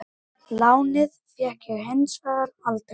Og eiginlega langaði okkur ekki að kynnast honum.